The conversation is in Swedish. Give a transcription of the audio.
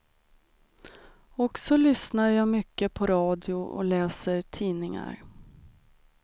Och så lyssnar jag mycket på radio och läser tidningar.